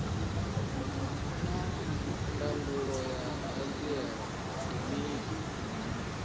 naa ndangulo ya hanziela ndi mini